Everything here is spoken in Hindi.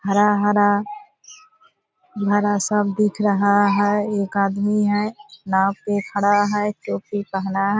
हरा हरा हरा सब दिख रहा है | एक आदमी है नाव पे खड़ा है टोपी पहना है |